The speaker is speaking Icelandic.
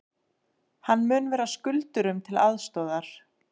Hann mun vera skuldurum til aðstoðar